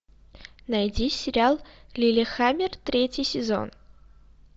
найди сериал лиллехаммер третий сезон